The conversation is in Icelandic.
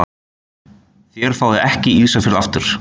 Þér fáið ekki Ísafjörð aftur.